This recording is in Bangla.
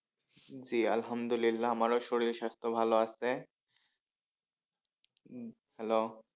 জি আলহামদুলিল্লাহ আমারও শরীর সাস্থ্য ভালো আছে উম Hallo